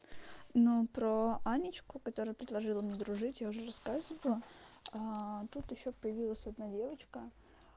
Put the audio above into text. но про анечку которая предложила мне дружить я уже рассказывала тут ещё появилась одна девочка